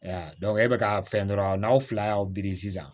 e bɛka ka fɛn dɔrɔn n'aw fila y'aw biri sisan